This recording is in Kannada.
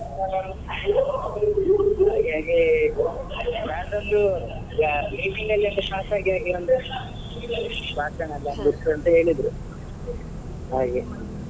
ಹಾಗಾಗಿ ಹೇಳಿದ್ರು ಹಾಗೆ.